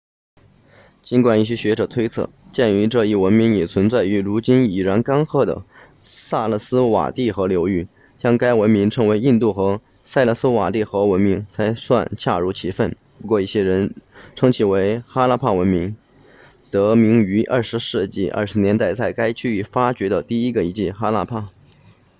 尽管一些学者推测鉴于这一文明也存在于如今已然干涸的萨拉斯瓦蒂河流域将该文明称为印度河萨拉斯瓦蒂河文明才算恰如其分不过一些人称其为哈拉帕文明得名于20世纪20年代在该区域发掘的第一个遗址哈拉帕